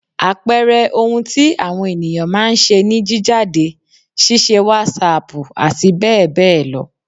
Àpẹẹrẹ ohun tí àwọn ènìyán má a ń ṣe ni jíjáde, ṣíṣe wàsáàpù àti bẹ́ẹ̀ bẹ́ẹ̀ lọ